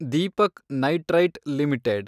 Deepak nitrite limited